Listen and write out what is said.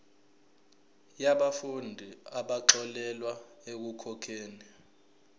yabafundi abaxolelwa ekukhokheni